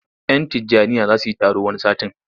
Yan Tijjaniyya za su yi taro wani satin.